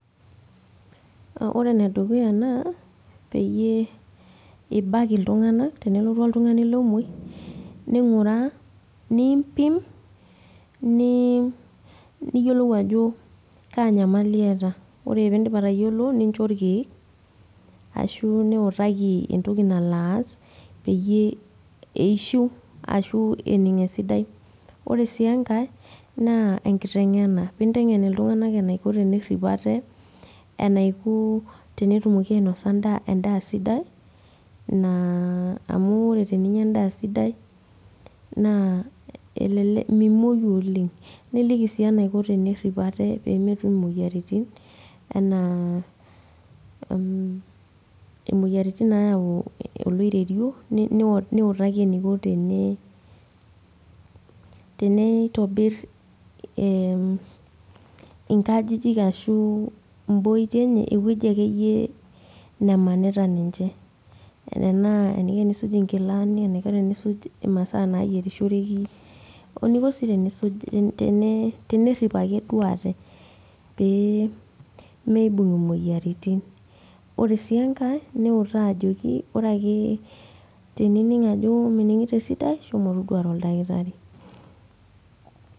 Ore enedukuya naa, peyie ibak iltung'anak, tenelotu oltung'ani lomoi, ning'uraa, niimpim, niyiolou ajo kaa nyamali eeta. Ore pidip atayiolo, nincho irkeek ashu niutaki entoki nalo aas, peyie eishiu ashu ening' esidai. Ore si enkae, naa enkiteng'ena. Pinteng'en iltung'anak enaiko tenerrip ate, enaiko tenetumoki ainosa endaa sidai, amu ore teninya endaa sidai, naa elelek mimoyu oleng. Niliki si enaiko tenerrip ate pemetum imoyiaritin, enaa imoyiaritin nayau oloiterio, niutaki eniko tene, teneitobir inkajijik ashu iboitie enye, ewoji akeyie nemanita ninche. Tenaa eniko enisuj inkilani, eniko teniisuj imasaa naiyierishoreki, o eniko si tenisuj, tenerrip ake duo ate. Pee miibung' imoyiaritin. Ore si enkae, niutaa ajoki ore ake tenining' ajo mining'ito esidai, shomo toduare oldakitari.